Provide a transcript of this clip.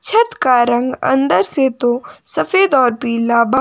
छत का रंग अंदर से तो सफेद और पीला बा--